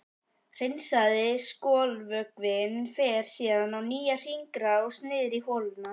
Hreinsaði skolvökvinn fer síðan í nýja hringrás niður í holuna.